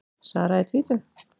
Sara er tvítug.